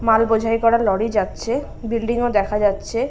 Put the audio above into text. মাল বোঝাই করা লরি যাচ্ছে বিল্ডিং ও দেখা যাচ্ছে ।